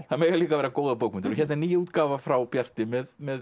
það mega líka vera góðar bókmenntir og hér er ný útgáfa frá Bjarti með með